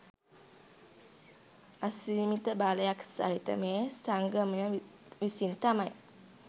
අසීමිත බලයක් සහිත මේ සංගමය විසින් තමයි